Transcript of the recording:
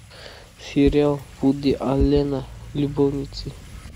сериал вуди аллена любовницы